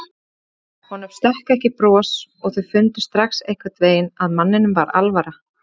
Honum stökk ekki bros og þau fundu strax einhvern veginn að manninum var alvara.